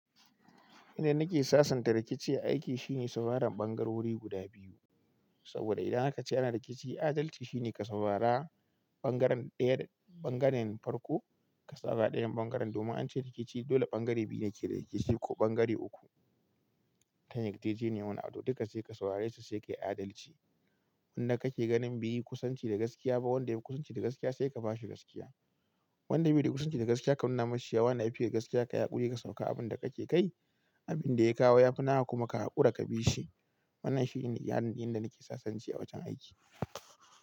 Inda nake sasanta rikici aiki shine safaran bangarori guda biyu. Saboda idan aka ce ana rikici, adalci shine ka saurara bangaren daya bangaren farko, ka safara dayan bangaren. Domin an ce rikici dole bangare biyu ne yake rikici ko bangare uku. Tayar jejeniyar wani wani duka sai ka saurare su sai ka yi adalci. Wanda kake ganin beyi kusanci da gaskiya ba, wanda yayi kusanci da gaskiya sai ka ba shi gaskiya. Wanda bai yi kusanci da gaskiya ka nuna masa cewa ana iya yi da gaskiya ka yaƙuri ka sauka abin da kake kai, abin da ya kawo ya fi nawa kuma ka haƙura ka bi shi. Wannan shine inda nake sasance a wajen aiki.